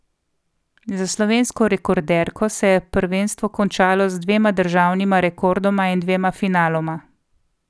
Za slovensko rekorderko se je prvenstvo končalo z dvema državnima rekordoma in dvema finaloma.